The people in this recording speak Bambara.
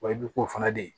Wa i bɛ k'o fana de ye